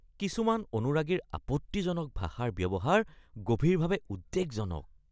কিছুমান অনুৰাগীৰ আপত্তিজনক ভাষাৰ ব্যৱহাৰ গভীৰভাৱে উদ্বেগজনক